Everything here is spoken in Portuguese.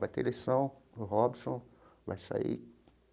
Vai ter eleição, o Robson vai sair.